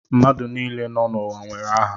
Mmadụ niile nọ n'ụwa nwere aha